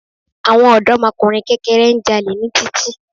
Àwọn òdọ́mọkùnrin kẹ́kẹrẹ́ ń jalè ní títì